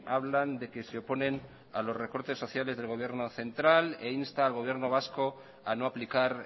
hablan de que se oponen a los recortes sociales del gobierno central e insta al gobierno vasco a no aplicar